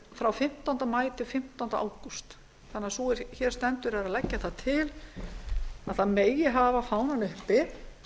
frá fimmtánda maí til fimmtánda ágúst sú er hér stendur er að leggja það til að það megi hafa fánann uppi